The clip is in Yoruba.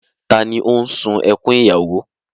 Ta ni ó sun ẹkún ìyàwó?